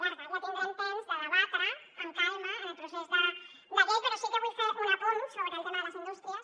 ja tindrem temps de debatre ho amb calma en el procés de llei però sí que vull fer un apunt sobre el tema de les indústries